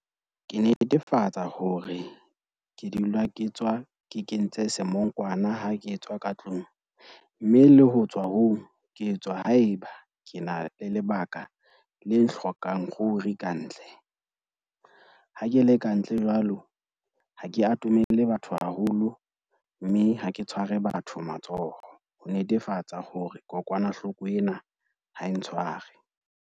Ke netefatsa hore ke dula ke tswa ke kentse semongkwana ha ke tswa ka tlung, mme le ho tswa ho ke tswa haeba ke na le lebaka le hlokang ruri ka ntle. Ha ke le kantle jwalo, ha ke atomele batho haholo mme ha ke tshware batho matsoho. Ho netefatsa hore kokwanahloko ena ha e ntshware.